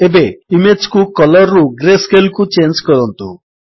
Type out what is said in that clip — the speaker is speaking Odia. ଏବେ ଇମେଜ୍ କୁ କଲର୍ ରୁ ଗ୍ରେସ୍କେଲ୍ କୁ ଚେଞ୍ଜ୍ କରନ୍ତୁ